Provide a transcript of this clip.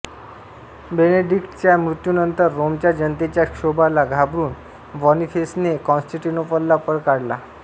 बेनेडिक्टच्या मृत्यूनंतर रोमच्या जनतेच्या क्षोभाला घाबरुन बॉनिफेसने कॉन्स्टेन्टिनोपलला पळ काढला